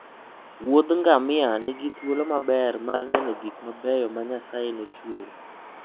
wuodh ngamia nigi thuolo maber mar neno gik mabeyo ma Nyasaye nochueyo.